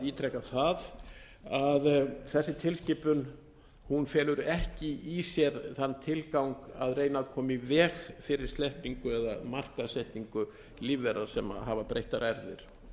ítreka það að þessi tilskipun felur ekki í sér þann tilgang að reyna að koma í veg fyrir sleppingu eða markaðssetningu lífvera sem hafa breyttar erfðir